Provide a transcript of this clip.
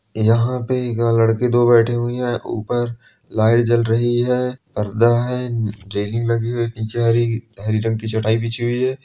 यहाँ पे यहाँ लड़के दो बैठे हुए है और ऊपर लाइट जल रही है पर्दा है नीचे हरी रंग की चटाई बिछी हुई है।